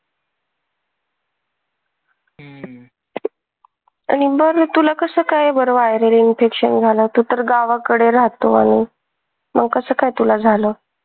आणि बघ न तुला कस काय बर viral infection झाल तू तर गावाकडे राहतो आणि मग कस काय तुला झाल?